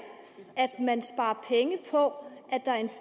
at man sparer penge på